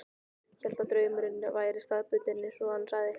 Hélt að draumurinn væri staðbundinn, eins og hann sagði.